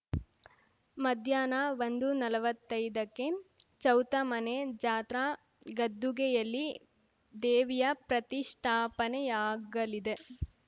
ಮಧ್ಯಾಹ್ನ ಒಂದುನಲ್ವತ್ತೈದಕ್ಕೆ ಚೌತ ಮನೆಜಾತ್ರಾ ಗದ್ದುಗೆ ಯಲ್ಲಿ ದೇವಿಯ ಪ್ರತಿಷ್ಠಾಪನೆಯಾಗಲಿದೆ